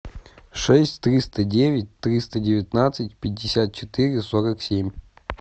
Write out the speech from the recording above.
шесть триста девять триста девятнадцать пятьдесят четыре сорок семь